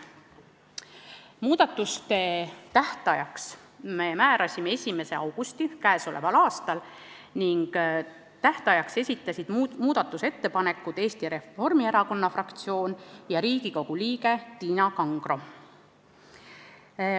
Muudatusettepanekute esitamise tähtajaks määrasime 1. augusti k.a. Tähtajaks esitasid muudatusettepanekuid Eesti Reformierakonna fraktsioon ja Riigikogu liige Tiina Kangro.